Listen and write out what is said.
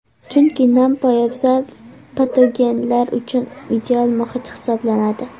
Chunki nam poyabzal patogenlar uchun ideal muhit hisoblanadi.